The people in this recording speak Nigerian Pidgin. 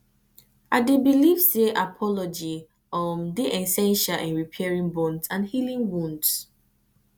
i dey believe say apology um dey essential in repairing bonds and healing wounds